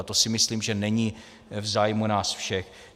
A to si myslím, že není v zájmu nás všech.